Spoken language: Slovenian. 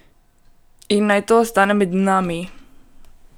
In naj to ostane med nami!